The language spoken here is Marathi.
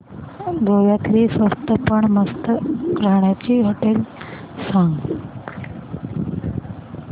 गोव्यातली स्वस्त पण मस्त राहण्याची होटेलं सांग